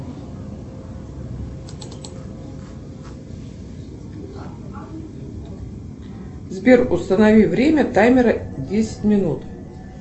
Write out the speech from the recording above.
сбер установи время таймера десять минут